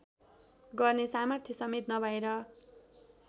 गर्ने सामर्थ्यसमेत नभएर